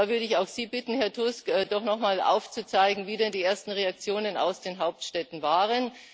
Und da würde ich auch Sie bitten, Herr Tusk, doch nochmal aufzuzeigen, wie denn die ersten Reaktionen aus den Hauptstädten waren.